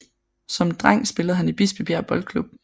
Som dreng spillede han i Bispebjerg Boldklub